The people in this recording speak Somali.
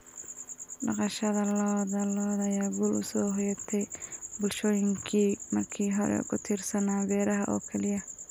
Dhaqashada lo'da lo'da ayaa guul u soo hoyatay bulshooyinkii markii hore ku tiirsanaa beeraha oo keliya.